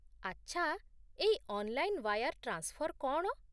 ଆଚ୍ଛା, ଏଇ online wire transfer କ'ଣ ?